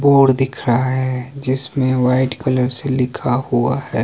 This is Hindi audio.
बोर्ड दिख रहा हैं जिसमें व्हाइट कलर से लिखा हुआ हैं।